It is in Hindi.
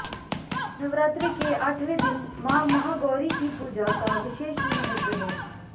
नवरात्रे के आठवें दिन माँ महागौरी की पूजा का विशेष महत्व हैं